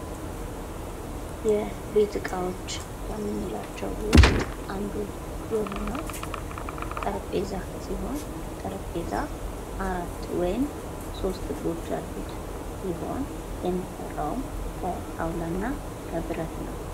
የቤት እቃዎች ከምንላቸው ውስጥ አንዱ የሆነው ጠረንጴዛ ሲሆን ጠረጴዛ አራት ወይም ሶስት እግሮች ያሉት ሲሆን የሚሰራውን ከጣውላ እና ከብረት ነው።